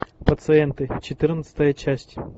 пациенты четырнадцатая часть